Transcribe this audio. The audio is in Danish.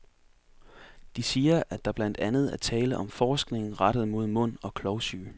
De siger, at der blandt andet er tale om forskning rettet mod mund og klovsyge.